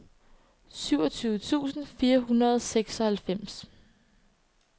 syvogtyve tusind fire hundrede og seksoghalvfems